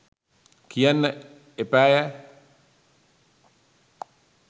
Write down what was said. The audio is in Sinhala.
කියන්න එපායැ